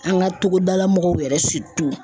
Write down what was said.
An ka togodala mɔgɔw yɛrɛ